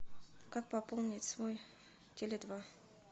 как пополнить свой теле два